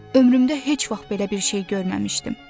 Ömrümdə heç vaxt belə bir şey görməmişdim.